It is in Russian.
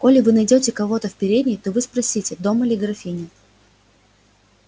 коли вы найдёте кого в передней то вы спросите дома ли графиня